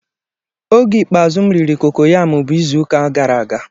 Oge ikpeazụ m riri kokoyam bụ izu ụka gara aga.